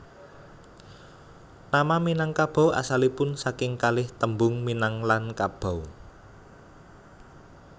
Nama Minangkabau asalipun saking kalih tembung minang lan kabau